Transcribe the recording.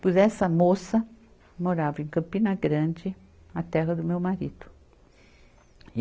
Pois essa moça morava em Campina Grande, a terra do meu marido.